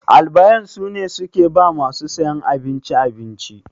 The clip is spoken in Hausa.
Albayan sune suke ba masu siyan abinci abinci.